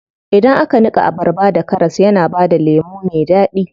Idan aka niƙa abarba da karas yana bada lemu me daɗi.